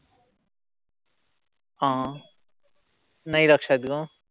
हं. नाई लक्षात ग.